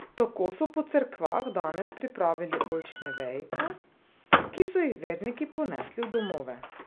Tako so po cerkvah danes pripravili oljčne vejice, ki so jih verniki ponesli v domove.